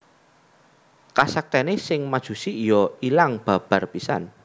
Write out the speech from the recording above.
Kasaktèné sang Majusi iya ilang babar pisan